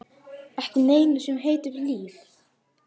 Ekki neinu sem heitir líf.